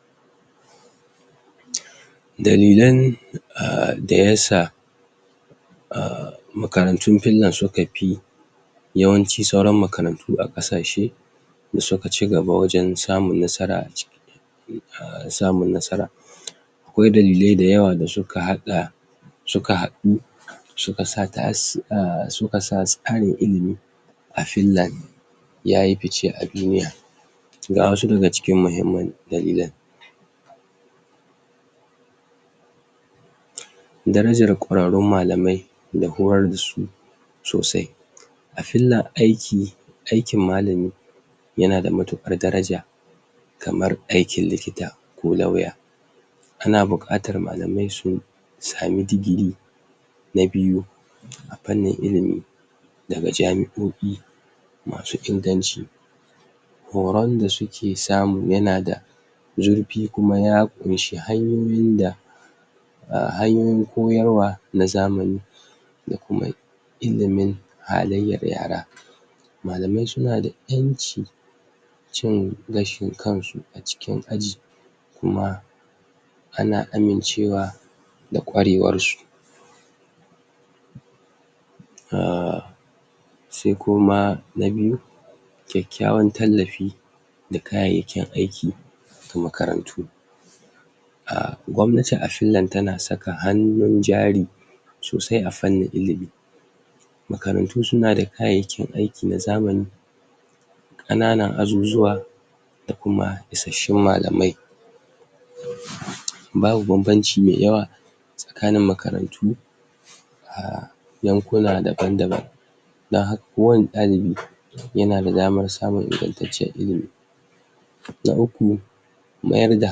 ? dalilan? um da yasa um makarantun pillon suka pi yawanci sauran makarantu a ƙasashe da suka cigaba wajen samun nasara a ci um samun nasara? akwai dalilai dayawa da suka haɗa suka haɗu suka sa tas um suka sa tsarin ilimi a fillan yayi pice a duniya ga wasu daga cikin mahimman dalilan? darajar ƙwararrun malamai da horar dasu sosai a fillan aiki aikin malami yana da matuƙar daraja kamar aikin likita ko lauya ana buƙatar malamai su sami digiri na biyu a pannin ilimi daga jami'o'i masu inganci horon da suke samu yana da zurpi kuma ya ƙunshi hanyoyin da um hanyoyin koyarwa na zamani da kuma ilimin halayyar yara malamai suna da ƴanci cin gashin kansu a cikin aji kuma ana amincewa da ƙwarewarsu um sai kuma na biyu kyakkyawan tallafi da kayayyakin aiki ga makarantu um gwamnace a fillan tana saka hannun jari sosai a fannin ilimi makarantu suna da kayayyakin aiki na zamani ƙananan azuzuwa da kuma isasshun malamai? babu bambamci mai yawa tsakanin makarantu um yankuna daban daban don haka kowani ɗalibi yana da daman samun ingantacciyar ilimi na uku mayar da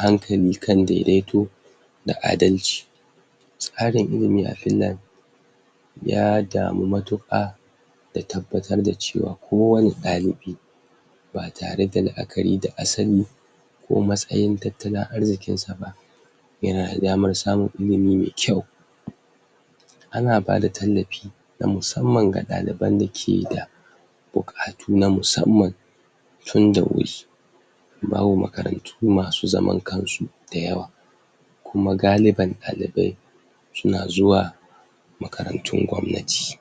hankali kan daidaito da adalci tsarin ilimi a finlan ya damu matuƙa da tabbatar da cewa kowani ɗalibi ba tare da la'akari da asali ko matsayin tattalin arzikinsa ba yana da damar samun ilimi mai kyau? ana bada tallapi na musamman ga ɗaliban da ke da buƙatu na musamman tun da wuri babu makarantu masu zaman kansu dayawa kuma galiban ɗalibai suna zuwa makarantun gwamnati